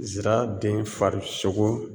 Zira den farisogo